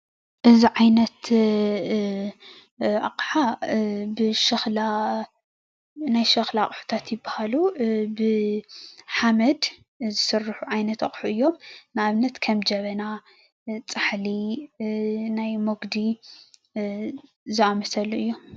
እዚ ዓይነት ኣቕሓ ብሸኽላ ናይ ሸኽላ ኣቁሑታት ይበሃሉ፡፡ ብሓመድ ዝስርሑ ዓይነት ኣቑሑ እዮም፡፡ ንኣብነት:- ከም ጀበና ፣ፃሕሊ፣ ናይ መጉዲ ዝኣመሰሉ እዮም፡፡